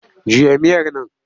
Juya miyar nan!